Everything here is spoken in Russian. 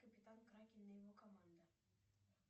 капитан кракен и его команда